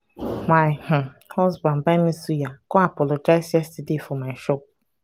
my um husband buy me suya come apologize yesterday for my shop.